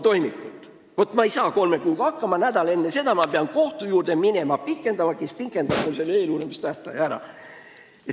Kui kolme kuuga ei saada hakkama, siis nädal enne seda peab minema kohtusse, kus seda eeluurimistähtaega pikendatakse.